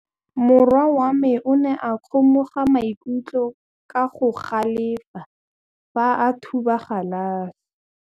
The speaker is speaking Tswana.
Morwa wa me o ne a kgomoga maikutlo ka go galefa fa a thuba galase.